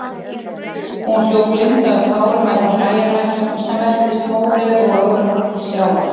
Hún hljóp blinduð af tárum meðfram bæjarlæknum, sem veltist mórauður og ögrandi til sjávar.